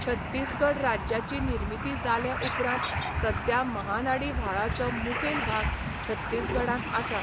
छत्तीसगढ राज्याची निर्मिती जाले उपरांत सद्या महानाडी व्हाळाचो मुखेल भाग छत्तीसगढांत आसा.